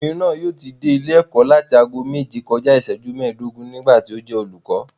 Obìnrin náà yóò ti dé ilé ẹ̀kọ́ láti ago méje kọjá iìsẹ́jú mẹ́ẹ̀dógún nígbà tí ó jẹ́ olùkọ́